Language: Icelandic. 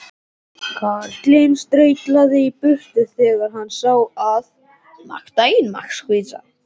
Karlinn staulaðist í burtu þegar hann sá að